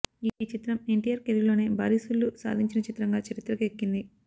ఈ చిత్రం ఎన్టీఆర్ కెరీర్లోనే భారీ సూళ్లు సాధించిన చిత్రంగా చరిత్రకెక్కింది